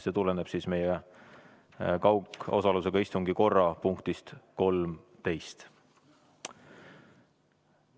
See tuleneb meie kaugosalusega istungi korra punktist 13.